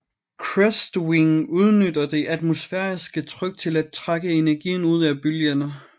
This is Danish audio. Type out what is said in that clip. Crestwing udnytter det atmosfæriske tryk til at trække energien ud af bølgerne